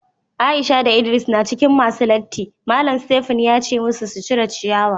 Aisha da ldris na cikin masun latin .Mallam Stephen ya ce masu su cire ciyawa.